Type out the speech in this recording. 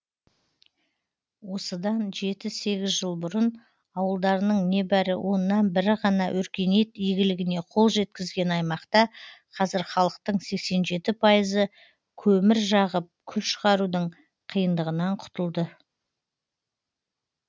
осыдан жеті сегіз жыл бұрын ауылдарының небәрі оннан бірі ғана өркениет игілігіне қол жеткізген аймақта қазір халықтың сексен жеті пайызы көмір жағып күл шығарудың қиындығынан құтылды